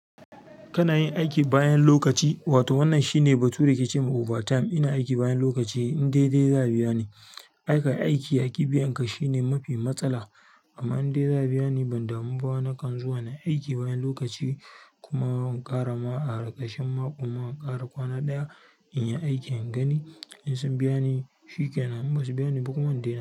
Kana yin aiki bayan lokaci, wato wannan shine batu da kike ce ma overtime. Ina aiki bayan lokaci, in dai za su biya ni. Ai kayi aiki aki biyan ka shine mafi mastala amma in dai za a biya ni, ban damu ba. Nakan zuwa nayi aiki bayan lokaci kuma in ƙara ma a ƙarƙashin mako ma in ƙara kwana ɗaya inyi aikin in gani in sun biyani shikenan in basu bayani ba in dai na.